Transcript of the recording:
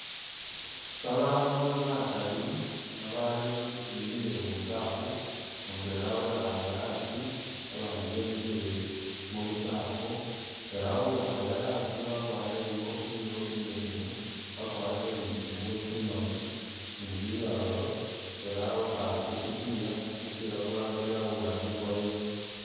Babandu bagali babaali shimbi ni buchafu mudwela wekhaale haasi abandi bemikhile mubuchafu ela uwikhaale haasi wagwarile ikofila imbesemu wagwarile ni tsingubo tsimaali ni biralo ela wekhaale khugupila gupila kulala guli haluwande gwa yellow.